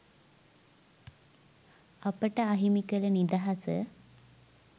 අපට අහිමි කළ නිදහස